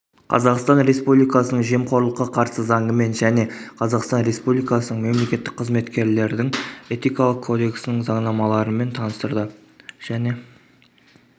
қазақстан республикасының жемқорлыққа қарсы заңымен және қазақстан республикасының мемлекеттік қызметкерлердін этикалық кодексының заңнамаларымен таныстырды және